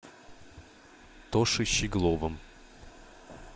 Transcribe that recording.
тошей щегловым